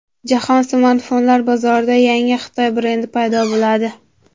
Jahon smartfonlar bozorida yangi Xitoy brendi paydo bo‘ladi.